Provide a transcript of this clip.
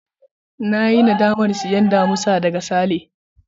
Na yi nadamar sayen damisa daga Sale.